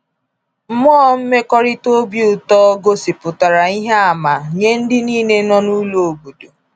Mmụọ mmekọrịta obi ụtọ gosipụtara ihe àmà nye ndị niile nọ n’ụlọ obodo.